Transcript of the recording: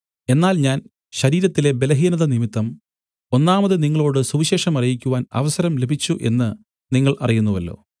എന്നാൽ ഞാൻ ശരീരത്തിലെ ബലഹീനതനിമിത്തം ഒന്നാമത് നിങ്ങളോടു സുവിശേഷം അറിയിക്കുവാന്‍ അവസരം ലഭിച്ചു എന്നു നിങ്ങൾ അറിയുന്നുവല്ലോ